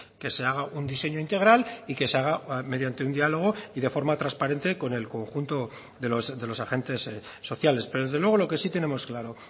que se haga un diseño integral y que se haga mediante un diálogo y de forma transparente con el conjunto de los agentes sociales pero desde luego lo que sí tenemos claro